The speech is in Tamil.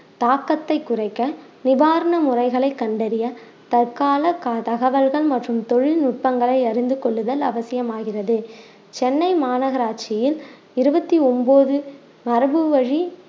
தாக்கத்தை குறைக்க நிவாரண முறைகளை கண்டறிய தற்கால க~ தகவல்கள் மற்றும் தொழில்நுட்பங்களை அறிந்து கொள்ளுதல் அவசியம் ஆகிறது சென்னை மாநகராட்சியில் இருவத்தி ஒண்பது மரபு வழி